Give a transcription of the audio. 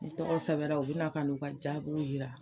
Ni tɔgɔw sɛbɛla o be na ka n'o ka jaabiw yira